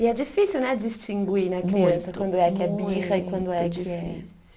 E é difícil, né, distinguir na criança quando é que é birra e quando é que é